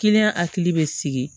hakili bɛ sigi